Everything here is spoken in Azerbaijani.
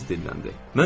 Fransız dilləndi.